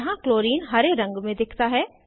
यहाँ क्लोराइन हरे रंग में दिखता है